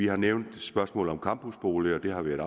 har nævnt spørgsmålet om campusboliger det har været